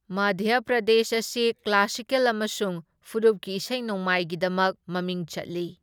ꯃꯙ꯭ꯌ ꯄ꯭ꯔꯗꯦꯁ ꯑꯁꯤ ꯀ꯭ꯂꯥꯁꯤꯀꯦꯜ ꯑꯃꯁꯨꯡ ꯐꯨꯔꯨꯞꯀꯤ ꯏꯁꯩ ꯅꯣꯡꯃꯥꯏꯒꯤꯗꯃꯛ ꯃꯃꯤꯡ ꯆꯠꯂꯤ꯫